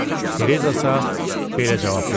Tereza isə belə cavab vermişdi: